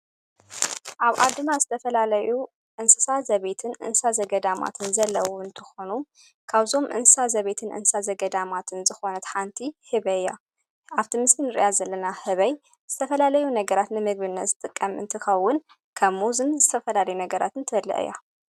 ኣብ ኣድማ ዝተፈላለዩ እንስሳ ዘቤትን እንሳ ዘገዳማትን ዘለዉን ትኾኑ ካውዞም እንሳ ዘቤትን እንሳ ዘገዳማትን ዝኾነት ሓንቲ ህበይ እያ ኣብትምስን ርያ ዘለና ህበይ ዝተፈላለዩ ነገራት ንምግብልነ ዘጥቀም እንት ኸውን ከብ ሙዝን ዝተፈላለዩ ነገራትን ተበለአ እያ።